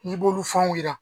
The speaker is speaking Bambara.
N'i b'olu fanw yiran.